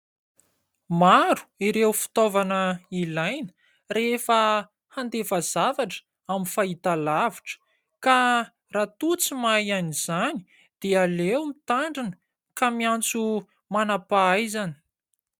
Maro ireo fitaovana ilaina rehefa handefa zavatra amin'ny fahitalavitra ka raha toa tsy mahay an'izany dia aleo mitandrina ka miantso manam-pahaizana.